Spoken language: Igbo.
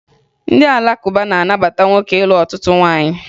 Ndị Alakụba na-anabata nwoke ịlụ ọtụtụ nwaanyị